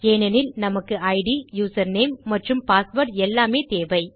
ஏனெனில் நமக்கு it username மற்றும் பாஸ்வேர்ட் எல்லாமே தேவை